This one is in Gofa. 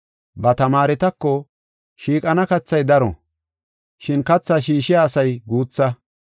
Ba tamaaretako, “Shiiqana kathay daro, shin kathaa shiishiya asay guutha.